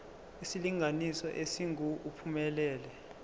isilinganiso esingu uphumelele